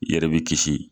I yɛrɛ b'i kisi